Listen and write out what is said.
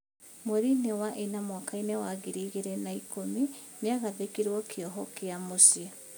Mwerinĩ wa ĩna mwakainĩ wa ngiri igĩrĩ na ikũmi, nĩagarhĩkĩirwo kĩoho gĩa mũciĩ.